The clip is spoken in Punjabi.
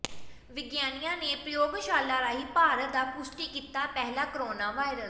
ਵਿਗਿਆਨੀਆਂ ਨੇ ਪ੍ਰਯੋਗਸ਼ਾਲਾ ਰਾਹੀਂ ਭਾਰਤ ਦਾ ਪੁਸ਼ਟੀ ਕੀਤਾ ਪਹਿਲਾ ਕੋਰੋਨਾ ਵਾਇਰਸ